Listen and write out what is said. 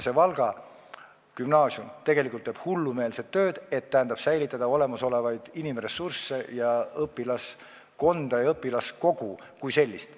Valga Gümnaasium teeb hullumeelset tööd, et säilitada olemasolevaid inimressursse, õpilaskonda ja õpilaskogu kui sellist.